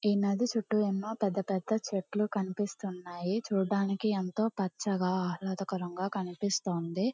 ఈ నది చుట్టుఏమో పెద్ద పెద్ద చెట్లు కనిపిస్తున్నాయి చూడడానికి ఎంతో పచ్చగా ఆహ్లదకరం గ కనిపిస్తోంది.